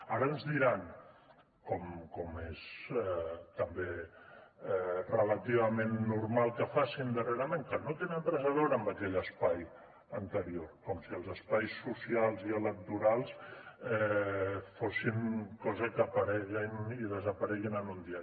ara ens diran com és també relativament normal que facin darrerament que no tenen res a veure amb aquell espai anterior com si els espais socials i electorals fossin coses que apareguin i desapareguin en un dia